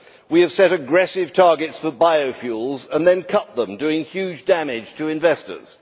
We have set aggressive targets for biofuels and then cut them, doing huge damage to investors.